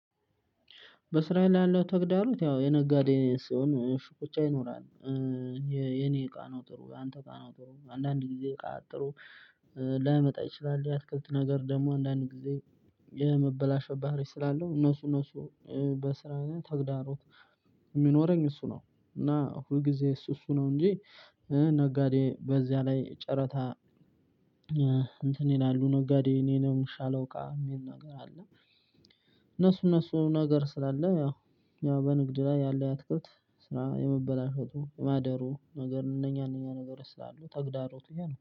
በስራ ላይ ያለው ተግዳሮት ያው የነጋዴ ሲሆን ሽኩቻ ይኖራል። የኔ እቃ ነው ጥሩ ያንተ እቃ ነው ጥሩ አንዳንድ ጊዜ እቃ ጥሩ ላይመጣ ይችላል። ሊያስከትል ነገር ደሞ አንዳንድ ጊዜ የመበላሸት ባህሪ ስላለው እነሱ እነሱ በስራ ተግዳሮት። እሚኖረኝ እሱ ነው እና ሁል ጊዜ እሱ እሱ ነው እንጂ። ነጋዴ በዚያ ላይ ጨረታ። እንትን ይላሉ ነጋዴ የኔ ነው የሚሻለው እቃ እሚል ነገር አለ። እነሱ እነሱ ነገር ስላለ ያው በንግድ ላይ ያለ ያትክልት ስራ የመበላሸቱ ማደሩ ነገር እነኛ እነኛ ነገር ስላሉ ተግዳሮቱ ያ ነው